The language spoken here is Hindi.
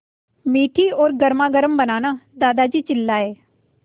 मीठी और गर्मागर्म बनाना दादाजी चिल्लाए